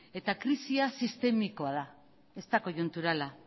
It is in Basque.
eta krisia sistemikoa da ez da koiunturala